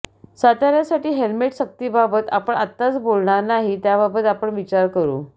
सातार्यासाठी helmet सक्तीबाबत आपण आताच बोलणार नाही त्याबाबत आपण विचार करु